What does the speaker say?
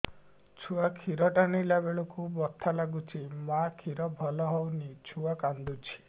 ଛୁଆ ଖିର ଟାଣିଲା ବେଳକୁ ବଥା ଲାଗୁଚି ମା ଖିର ଭଲ ହଉନି ଛୁଆ କାନ୍ଦୁଚି